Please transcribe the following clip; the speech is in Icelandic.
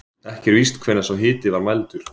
Ekki er víst hvenær sá hiti var mældur.